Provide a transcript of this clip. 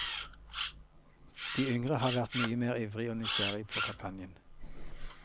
De yngre har vært mye mer ivrig og nysgjerrig på kampanjen.